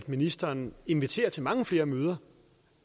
ministeren inviterer til mange flere møder